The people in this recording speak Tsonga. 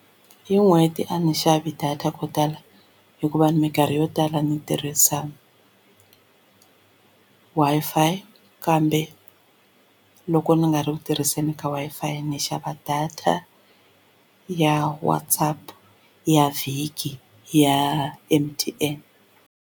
Hi n'hweti a ni xavi data ko tala hikuva minkarhi yo tala ndzi tirhisa Wi-Fi kambe loko ni nga ri ku tirhiseni ka Wi-Fi ni xava data ya WhatsaApp ya vhiki ya M_T_N.